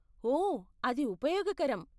ఓ, అది ఉపయోగకరం.